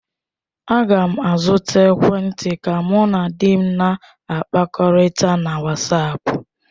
Aga m azụta ekwentị ka mụ na di m na-akpakọrịta na wasapu.